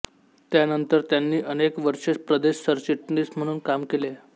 त्यानंतर त्यांनी अनेक वर्षे प्रदेश सरचिटणीस म्हणून काम केले